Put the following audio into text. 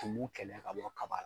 Tumu kɛlɛ ka bɔ kaba la.